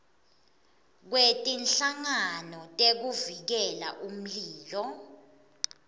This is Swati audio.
kwetinhlangano tekuvikela umlilo